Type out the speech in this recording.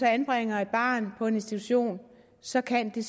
anbringer et barn på en institution så kan det